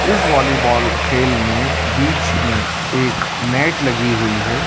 इस वॉलीबॉल खेल में बीच में एक नेट लगी हुई है।